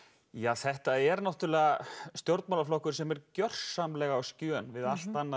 þetta er stjórnmálaflokkur sem er gjörsamlega á skjön við allt annað